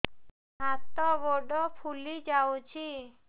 ହାତ ଗୋଡ଼ ଫୁଲି ଯାଉଛି